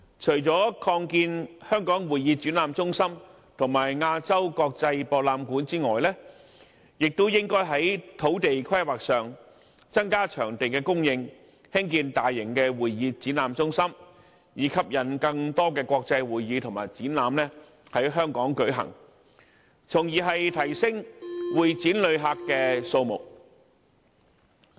除了擴建香港會議展覽中心和亞洲國際博覽館外，當局亦應該在土地規劃上增加會展場地的供應，以興建大型的會議展覽中心，吸引更多國際會議和展覽在香港舉行，從而提升會展旅客的數目。